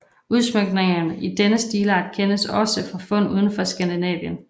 Udsmykninger i denne stilart kendes også fra fund udenfor Skandinavien